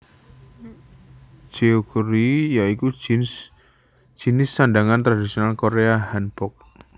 Jeogori ya iku jinis sandhangan tradisional Korea Hanbok